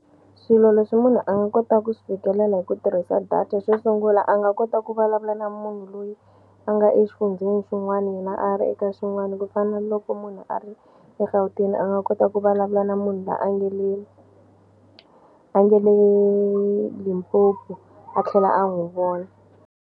Swilo leswi munhu a nga kota ku swi fikelela hi ku tirhisa data xo sungula a nga kota ku vulavula na munhu loyi a nga exifundzeni xin'wani yena a ri eka xin'wani ku fana ni loko munhu a ri eGauteng a nga kota ku vulavula na munhu la a nga le a nge le Limpopo a tlhela a n'wu vona.